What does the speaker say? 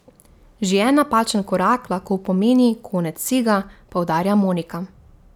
Že en napačen korak lahko pomeni konec vsega, poudarja Monika.